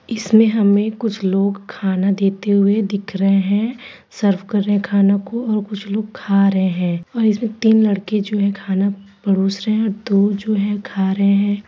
इसमें हमें कुछ लोग खाना देते हुए दिख रहे हैं सर्व कर रहे हे खानो को और कुछ लोग खा रहे हैं और इसमें तीन लड़के जो हैं खाना परोस रहे हैं और दो जो खा रहे हैं।